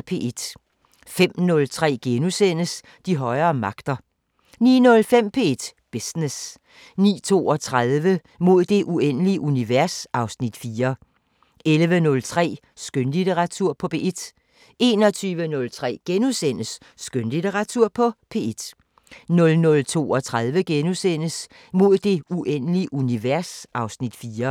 05:03: De højere magter * 09:05: P1 Business 09:32: Mod det uendelige univers (Afs. 4) 11:03: Skønlitteratur på P1 21:03: Skønlitteratur på P1 * 00:32: Mod det uendelige univers (Afs. 4)*